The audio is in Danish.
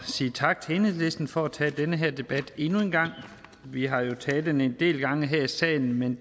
sige tak til enhedslisten for at tage den her debat endnu en gang vi har jo taget den en del gange her i salen men